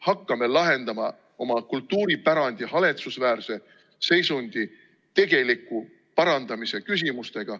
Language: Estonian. Hakkame lahendama oma kultuuripärandi haletsusväärse seisundi tegeliku parandamise küsimusi.